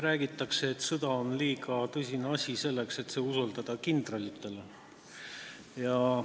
Räägitakse, et sõda on liiga tõsine asi, selleks et see kindralitele usaldada.